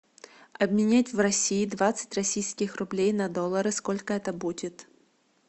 обменять в россии двадцать российских рублей на доллары сколько это будет